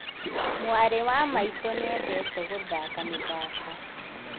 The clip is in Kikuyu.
Mwarĩ wa maitũ nĩendete gũthaka mĩthako